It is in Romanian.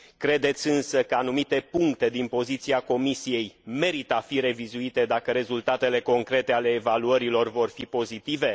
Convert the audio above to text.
Credeți însă că anumite puncte din poziția Comisiei merită a fi revizuite dacă rezultatele concrete ale evaluărilor vor fi pozitive?